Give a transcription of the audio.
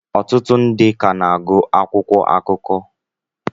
ọtụtụ ndị ka na-agụ akwụkwọ akụkọ